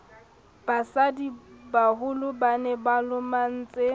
basadibaholo ba ne ba lomahantse